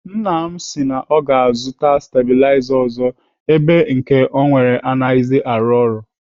Nna m si na ọ ga-azụta stabiliza ọzọ ebe nke ọ nwere anaghịzi arụ ọrụ.